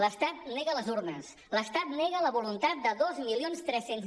l’estat nega les urnes l’estat nega la voluntat de dos mil tres cents